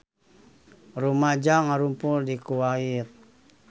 Rumaja ngarumpul di Kuwait